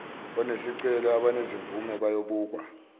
onesicelo abanezimvume bayobukwa